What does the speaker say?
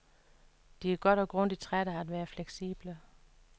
De er godt og grundigt trætte af at være fleksible.